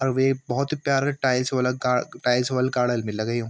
अर वे भोत ही प्यारा टाइल्स वला गा टाइल्स वल गार्डन बी लगयुं ।